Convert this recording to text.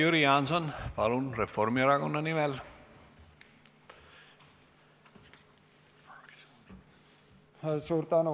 Jüri Jaanson, palun, Reformierakonna nimel!